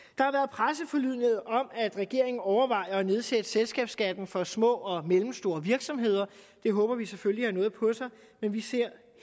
presseforlydender om at regeringen overvejer at nedsætte selskabsskatten for små og mellemstore virksomheder det håber vi selvfølgelig har noget på sig men vi ser